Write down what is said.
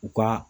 U ka